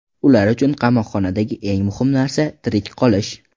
Ular uchun qamoqxonadagi eng muhim narsa – tirik qolish.